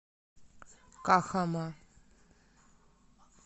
кахама